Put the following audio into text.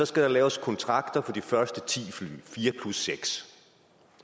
skal der laves kontrakter for de første ti fly fire plus seks